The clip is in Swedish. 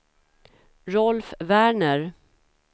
Rolf Werner